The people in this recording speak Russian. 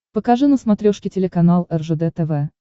покажи на смотрешке телеканал ржд тв